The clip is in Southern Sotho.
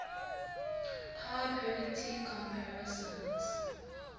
power parity comparisons